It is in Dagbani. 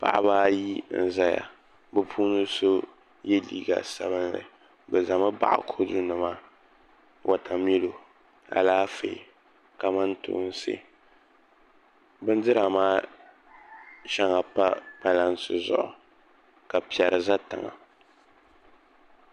paɣa mini o bihi n-diri bindirigu ka varivari do bɛ tooni dukuno o duɣila adu-a n-niŋ siliba sabinli ni ka zaŋ chɛriga tim ni o toogi ka zaŋ o nuzaa gbubi di liŋa ka o yidana sabila ka o zaŋ adu-a maa mini dakuno tam o tooni ni siliba kɔpu